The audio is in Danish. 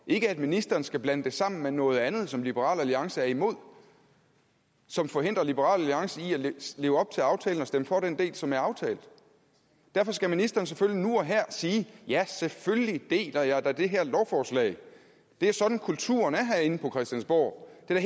ikke at ministeren skal blande det sammen med noget andet som liberal alliance er imod og som forhindrer liberal alliance i at leve op til aftalen og stemme for den del som er aftalt derfor skal ministeren selvfølgelig nu og her sige ja selvfølgelig deler jeg da det her lovforslag det er sådan kulturen er herinde på christiansborg det er